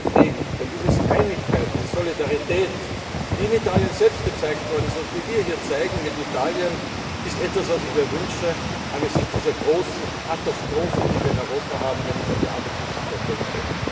Ich glaube, sehr viel, denn diese Einigkeit, diese Solidarität, die in Italien selbst gezeigt worden ist und die wir hier mit Italien zeigen, ist etwas, was ich mir wünsche angesichts dieser großen Katastrophe, die wir in Europa haben, wenn ich an die Arbeitslosigkeit denke.